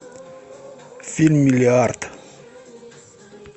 фильм миллиард